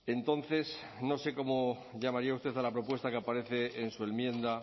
entonces no sé cómo llamaría usted a la propuesta que aparece en su enmienda